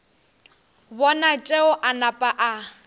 bona tšeo a napa a